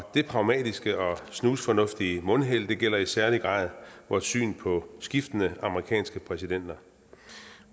det pragmatiske og snusfornuftige mundheld gælder i særlig grad vores syn på skiftende amerikanske præsidenter